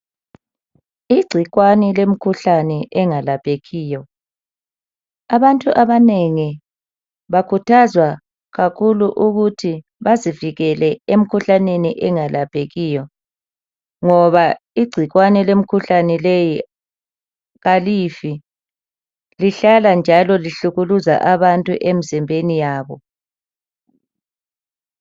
Igcikwane lemkhuhlane engelaphekiyo. Abantu abanengi bakhuthazwa kakhulu ukuthi bazivikele emkhuhlaneni engelaphekiyo ngoba igcikwane lemkhuhlane leyi kalifi lihlala njalo lihlukuluza abantu emzimbeni yabo.